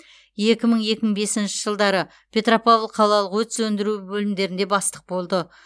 екі мың екі мың бесінші жылдары петропавл қалалық өрт сөндіру бөлімдерінде бастық болды